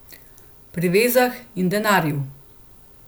Pri vezah in denarju.